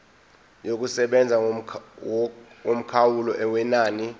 yokusebenza yomkhawulo wenani